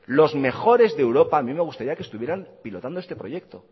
los mejores de europa a mí me gustaría que estuvieran pilotando este proyecto